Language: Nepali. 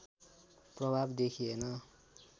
प्रभाव देखिएन